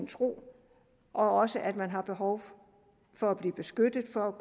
tro og også at man har behov for at blive beskyttet så